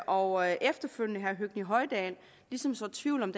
og efterfølgende herre høgni hoydal ligesom sår tvivl om